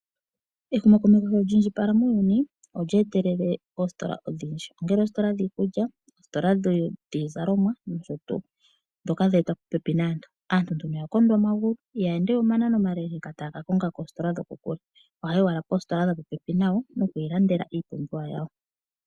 Ehumokomeho sho lyi indjipala muuyuni, olye etelele oositola odhindji ngaashi oositola dhiikulya, oositola dhiizalomwa nosho tuu ndhoka dhe etwa popepi naantu. Aantu ya kondwa omagulu ihaya ende we omanano omale taya ka konga koositola dhokokule. Ohaya yi owala poositola dhopopepi nayo noku ilandela iipumbiwa yawo.